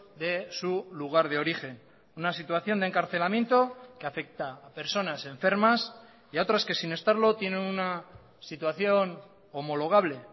de su lugar de origen una situación de encarcelamiento que afecta a personas enfermas y a otras que sin estarlo tienen una situación homologable